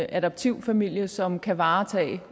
adoptivfamilie som kan varetage